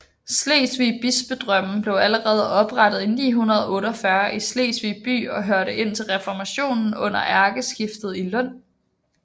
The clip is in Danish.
Slesvig Bispedømme blev allerede oprettet i 948 i Slesvig by og hørte indtil reformationen under ærkestiftet i Lund